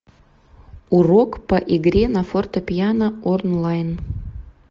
урок по игре на фортепиано онлайн